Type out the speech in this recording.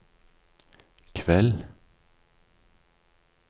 kveld